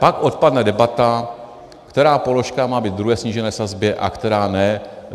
Pak odpadne debata, která položka má být ve druhé snížené sazbě a která ne.